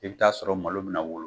I bɛ t'a sɔrɔ malo bɛna wolo